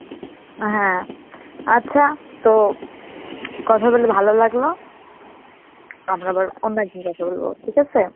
হ্যাঁ, আচ্ছা তো কথা বলে ভালো লাগলো, আমরা আবার অন্য একদিন কথা বলব ঠিক আছে?